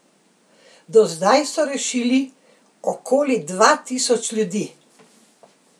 Do zdaj so rešili okoli dva tisoč ljudi.